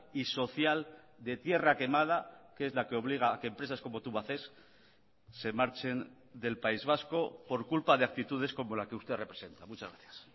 y social de tierra quemada que es la que obliga a que empresas como tubacex se marchen del país vasco por culpa de actitudes como la que usted representa muchas gracias